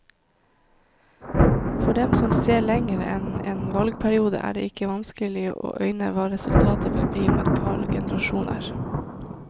For dem som ser lenger enn en valgperiode, er det ikke vanskelig å øyne hva resultatet vil bli om et par generasjoner.